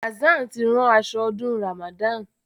Hassan tí ran aso ọdún Ramadan.